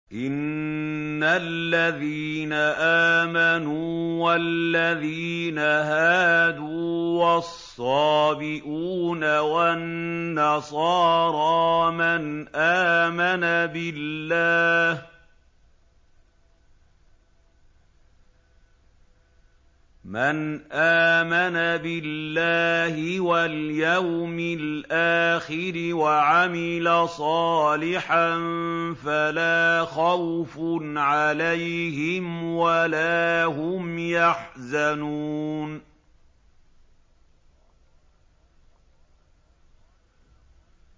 إِنَّ الَّذِينَ آمَنُوا وَالَّذِينَ هَادُوا وَالصَّابِئُونَ وَالنَّصَارَىٰ مَنْ آمَنَ بِاللَّهِ وَالْيَوْمِ الْآخِرِ وَعَمِلَ صَالِحًا فَلَا خَوْفٌ عَلَيْهِمْ وَلَا هُمْ يَحْزَنُونَ